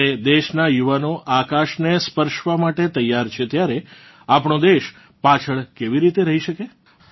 જ્યારે દેશનાં યુવાનો આકાશને સ્પર્શવા માટે તૈયાર છે ત્યારે આપણો દેશ પાછળ કેવી રીતે રહી શકે